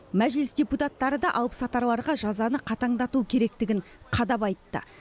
мәжіліс депутаттары да алыпсатарларға жазаны қатаңдату керектігін қадап айтты